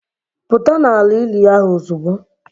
Pụta n'ala ili ahụ ozugbo!